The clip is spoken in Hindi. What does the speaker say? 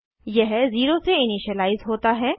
यह 0 से इनिशिअलाइज़ होता है